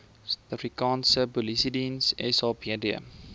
afrikaanse polisiediens sapd